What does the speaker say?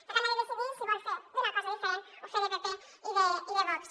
per tant ha de decidir si vol fer una cosa diferent o fer de pp i de vox